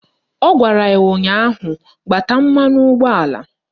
Ọ gwara ya ụnyaahụ " Gbata mmanụ ụgbọala"!